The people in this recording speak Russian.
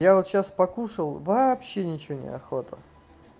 я вот сейчас покушал вообще ничего неохота